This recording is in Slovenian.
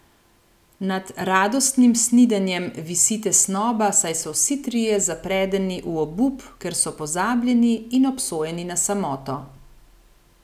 Nad radostnim snidenjem visi tesnoba, saj so vsi trije zapredeni v obup, ker so pozabljeni in obsojeni na samoto.